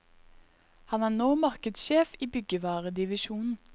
Han er nå markedssjef i byggevaredivisjonen.